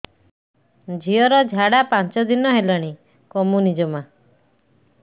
ଝିଅର ଝାଡା ପାଞ୍ଚ ଦିନ ହେଲାଣି କମୁନି ଜମା